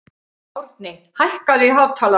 Árni, hækkaðu í hátalaranum.